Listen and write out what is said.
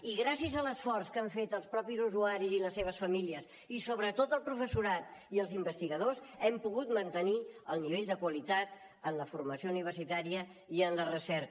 i gràcies a l’esforç que han fet els mateixos usuaris i les seves famílies i sobretot el professorat i els investigadors hem pogut mantenir el nivell de qualitat en la formació universitària i en la recerca